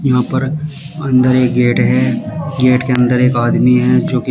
यहां पर अंदर एक गेट है गेट के अंदर एक आदमी है जो की--